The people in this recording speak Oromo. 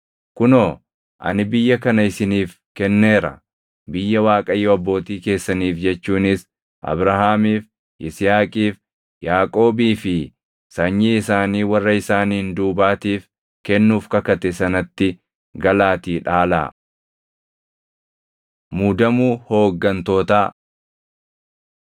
Kunoo, ani biyya kana isiniif kenneera. Biyya Waaqayyo abbootii keessaniif jechuunis Abrahaamiif, Yisihaaqiif, Yaaqoobii fi sanyii isaanii warra isaaniin duubaatiif kennuuf kakate sanatti galaatii dhaalaa.” Muudamuu Hooggantootaa